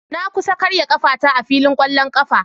Na kusa karya kafata a filin kwallon kafa.